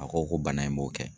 A ko ko bana in b'o kɛ.